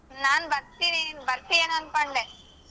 ನಾನ್ ಬರ್ತೀನಿ ನಿನ್ ಬರ್ತಿ ಎನ್ ಅನ್ಕೊಂಡೆ.